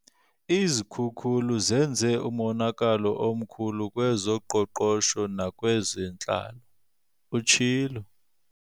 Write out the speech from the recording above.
"Izikhukulu zenze umonakalo omkhulu kwezoqoqosho nakwezentlalo," utshilo.